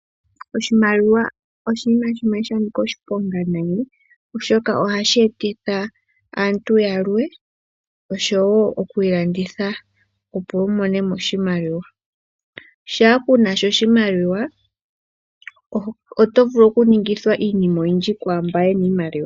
Oshimaliwa oshinima shimwe sha nika oshiponga nayi, oshoka ohashi etitha aantu ya kondje oshowo oku ilanditha, opo wu mone mo oshimaliwa. Shaa ku na sha oshimaliwa oto vulu okuningithwa iinima oyindji kwaa mba ye na iimaliwa.